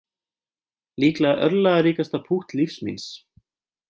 Líklega örlagaríkasta pútt lífs míns